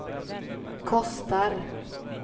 kostar